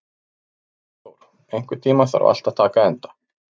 Dagþór, einhvern tímann þarf allt að taka enda.